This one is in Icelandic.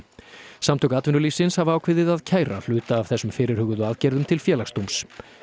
samtök atvinnulífsins hafa ákveðið að kæra hluta af þessum fyrirhuguðu aðgerðum til Félagsdóms